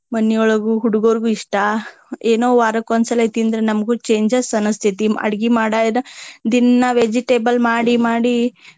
ಮಣಿಯೊಳಗು ಹುಡಗೊರ್ಗು ಇಷ್ಟಾ. ಏನೊ ವಾರಕ್ಕೊಂದ ಸಲೆ ತಿಂದ್ರ ನಮ್ಗು changes ಅನಸ್ತೆತಿ. ಅಡಗಿ ಮಾಡಾ ದಿನ್ನಾ vegetable ಮಾಡಿ ಮಾಡಿ.